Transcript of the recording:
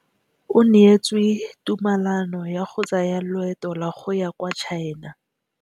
O neetswe tumalanô ya go tsaya loetô la go ya kwa China.